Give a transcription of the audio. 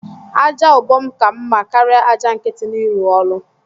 Aja ubom ka mma karia aja nkiti n’ịrụ ụlọ